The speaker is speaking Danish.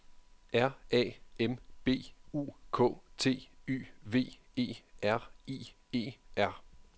R A M B U K T Y V E R I E R